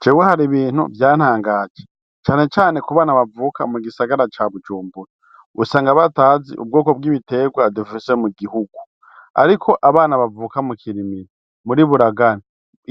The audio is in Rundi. Jewe hari ibintu vyantangaje canecane kubana bavuka mu gisagara ca bujumbura usanga batazi ubwoko bw'ibiterwa dufise mu gihugu, ariko abana bavuka mu kirimiro muri buragani